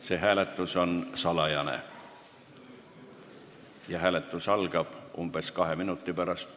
See hääletus on salajane ja algab umbes kahe minuti pärast.